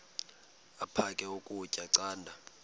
aphek ukutya canda